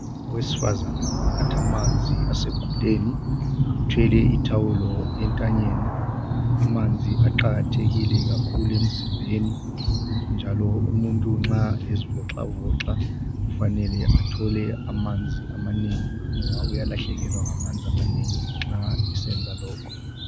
Owesifazana unatha amanzi aseguleni, uthwele ithawulo entanyeni. Amanzi aqakathekile kakhulu emzimbeni njalo umuntu nxa ezivoxavoxa kufanele athole amanzi amanengi ngoba uyalahlekelwa ngamanzi amanengi nxa esenza lokhu.